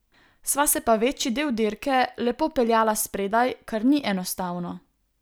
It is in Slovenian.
Sva se pa večji del dirke lepo peljala spredaj, kar ni enostavno.